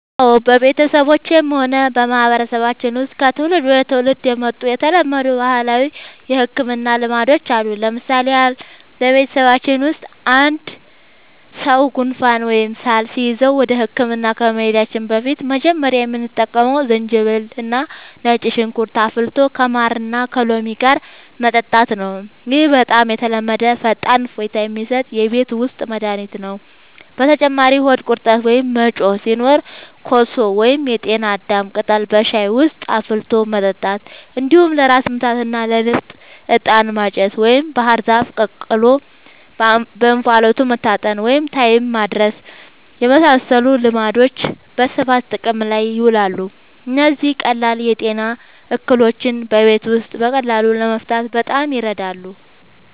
አዎ፣ በቤተሰባችንም ሆነ በማህበረሰባችን ውስጥ ከትውልድ ወደ ትውልድ የመጡ የተለመዱ ባህላዊ የሕክምና ልማዶች አሉ። ለምሳሌ ያህል፣ በቤተሰባችን ውስጥ አንድ ሰው ጉንፋን ወይም ሳል ሲይዘው ወደ ሕክምና ከመሄዳችን በፊት መጀመሪያ የምንጠቀመው ዝንጅብልና ነጭ ሽንኩርት አፍልቶ ከማርና ከሎሚ ጋር መጠጣት ነው። ይህ በጣም የተለመደና ፈጣን እፎይታ የሚሰጥ የቤት ውስጥ መድኃኒት ነው። በተጨማሪም ሆድ ቁርጠት ወይም መጮህ ሲኖር ኮሶ ወይም የጤና አዳም ቅጠል በሻይ ውስጥ አፍልቶ መጠጣት፣ እንዲሁም ለራስ ምታትና ለንፍጥ «ዕጣን ማጨስ» ወይም ባህር ዛፍ ተቀቅሎ በእንፋሎት መታጠንን (ታይም ማድረስ) የመሳሰሉ ልማዶች በስፋት ጥቅም ላይ ይውላሉ። እነዚህ ቀላል የጤና እክሎችን በቤት ውስጥ በቀላሉ ለመፍታት በጣም ይረዳሉ።